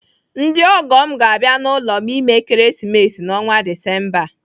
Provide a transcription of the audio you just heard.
Ndị ọgọ m ga-abịa n'ụlọ m ime Ekeresimesi n'ọnwa Disemba a.